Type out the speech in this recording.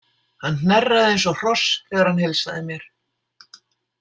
Hann hnerraði eins og hross þegar hann heilsaði mér.